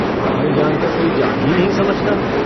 हमारी जान को कोई जान ही नहीं समझता।